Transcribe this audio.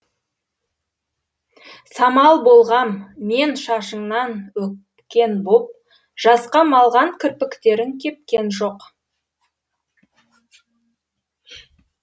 самал болғам мен шашыңнан өпкен боп жасқа малған кірпіктерің кепкен жоқ